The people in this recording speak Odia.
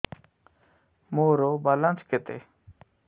ମୋର ବାଲାନ୍ସ କେତେ